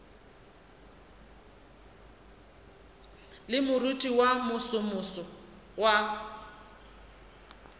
le moriting wo mosomoso wa